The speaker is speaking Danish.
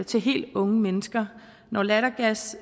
til helt unge mennesker når lattergas